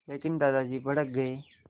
लेकिन दादाजी भड़क गए